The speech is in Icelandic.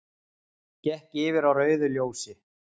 Gekk yfir á rauðu ljósi